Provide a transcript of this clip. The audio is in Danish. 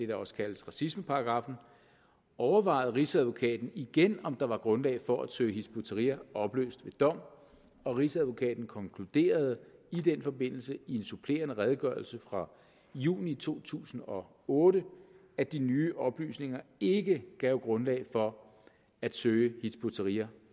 der også kaldes racismeparagraffen overvejede rigsadvokaten igen om der var grundlag for at søge hizb ut tahrir opløst ved dom og rigsadvokaten konkluderede i den forbindelse i en supplerende redegørelse fra juni to tusind og otte at de nye oplysninger ikke gav grundlag for at søge hizb ut tahrir